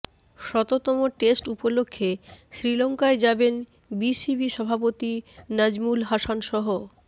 শততম টেস্ট উপলক্ষে শ্রীলঙ্কায় যাবেন বিসিবি সভাপতি নাজমুল হাসানসহ